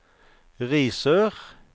Risør